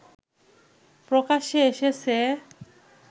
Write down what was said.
প্রকাশ্যে এসেছে